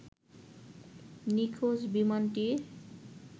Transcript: নিখোঁজ বিমানটির